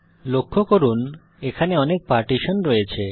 লক্ষ্য করুন এখানে অনেক পার্টিশন রয়েছে